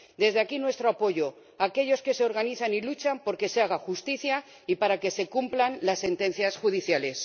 Desde aquí, nuestro apoyo a aquellos que se organizan y luchan por que se haga justicia y para que se cumplan las sentencias judiciales.